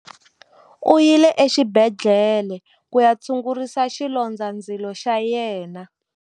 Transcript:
U yile exibedhlele ku ya tshungurisa xilondzandzilo xa yena.